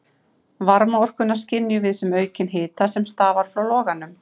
Varmaorkuna skynjum við sem aukinn hita sem stafar frá loganum.